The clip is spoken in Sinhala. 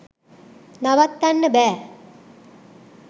නවත්තන්න බෑ